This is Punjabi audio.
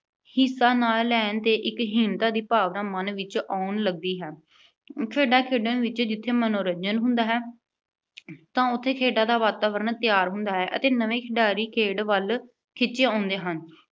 ਹਿੱਸਾ ਨਾ ਲੈਣ 'ਤੇ ਇੱਕ ਹੀਣਤਾ ਦੀ ਭਾਵਨਾ ਮਨ ਵਿੱਚ ਆਉਣ ਲੱਗਦੀ ਹੈ। ਖੇਡਾਂ ਖੇਡਣ ਵਿੱਚ ਜਿੱਥੇ ਮਨੋਰੰਜਨ ਹੁੰਦਾ ਹੈ। ਤਾਂ ਉਥੇ ਖੇਡਣ ਦਾ ਵਾਤਾਵਰਣ ਤਿਆਰ ਹੁੰਦਾ ਹੈ ਅਤੇ ਨਵੇਂ ਖਿਡਾਰੀ ਖੇਡ ਵੱਲ ਖਿੱਚੇ ਆਉਂਦੇ ਹਨ।